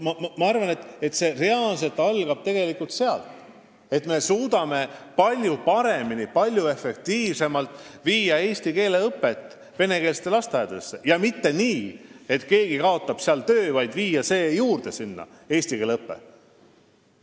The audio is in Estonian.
Ma arvan, et kõik algab tegelikult sellest, kui me suudame palju paremini ja palju efektiivsemalt viia eesti keele õpet venekeelsetesse lasteaedadesse – mitte nii, et keegi kaotab seal töö, vaid viia sinna eesti keele õpe juurde.